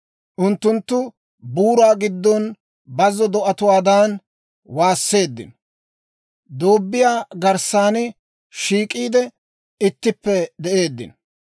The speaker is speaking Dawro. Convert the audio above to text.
Unttunttu buuraa giddon bazzo do'atuwaadan waasseeddino; doobbiyaa garssan shiik'iide, ittippe de'eeddino.